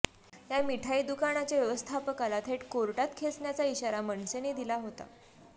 या मिठाई दुकानाच्या व्यवस्थापकाला थेट कोर्टात खेचण्याचा इशारा मनसेने दिला होता